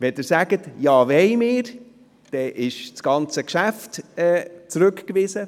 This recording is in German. Wenn Sie ihm zustimmen, wäre das ganze Geschäft zurückgewiesen.